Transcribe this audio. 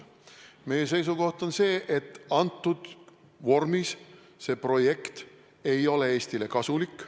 Meie seisukoht on see, et praeguses vormis see projekt ei ole Eestile kasulik.